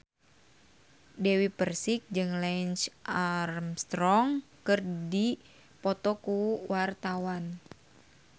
Dewi Persik jeung Lance Armstrong keur dipoto ku wartawan